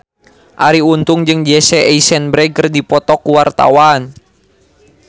Arie Untung jeung Jesse Eisenberg keur dipoto ku wartawan